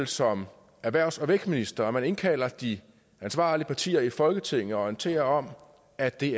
som erhvervs og vækstminister indkalder de ansvarlige partier i folketinget og orienterer om at det